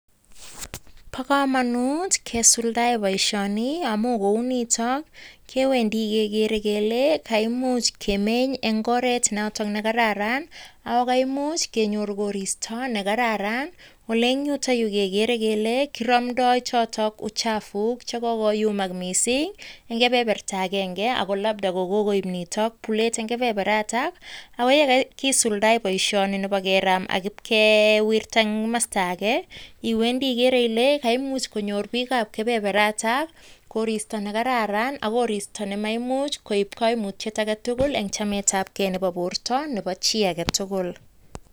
Bo kamanut kesuldae boisioni amun kounito kewendi kegeere kele kaimuch kemeny eng oret noto ne kararan ako kaimuch kenyor koristo ne kararan ole eng yutokyu kegeere kele kiramdoi chotok uchafu che kokoyumak mising eng kebeberta agenge ako labda kokoip nitok bulet eng keberberyatak ako ye kakisuldae boisioni nebo keraam ak kewirta eng kamasta ake iwendi igeere ile kaimuch konyor biikab kebeberatakkoristo ne kararan ak koristo nemaimuch koip kaimutiet age tugul eng chemetabge nebo borto nebo chi age tugul.